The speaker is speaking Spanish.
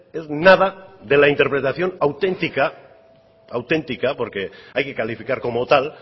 es nada de la interpretación auténtica auténtica porque hay que calificar como tal